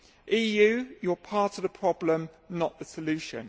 EU, you are part of the problem, not the solution.